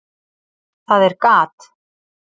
Það er gat.